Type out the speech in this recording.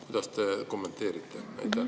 Kuidas te kommenteerite?